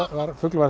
fugl var